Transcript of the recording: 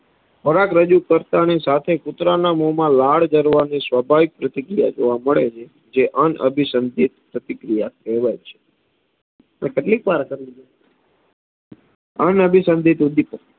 ખોરાક રજૂ કરતાંની સાથે કુતરાના મોમાં લાડ જરવા ની સ્વાભાવિક પ્રતિક્રિયા જોવા મડે છે, જે અનઅભિસંધીત પ્રતિક્રિયા કહેવાય છે કેટલીકવાર અનઅભિસંધીત ઉદ્દીપક